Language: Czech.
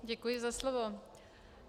Děkuji za slovo.